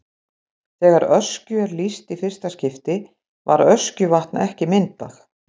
Þegar Öskju er lýst í fyrsta skipti var Öskjuvatn ekki myndað.